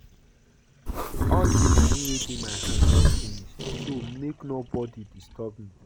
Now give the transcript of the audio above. All the money wey dey my hand don finish so make nobody disturb me